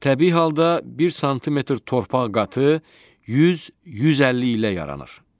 Təbii halda 1 sm torpaq qatı 100-150 ilə yaranır.